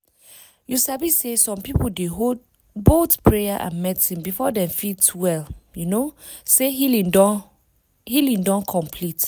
you sabi say some people dey hold both prayer and medicine before dem fit feel um say healing don healing don complete.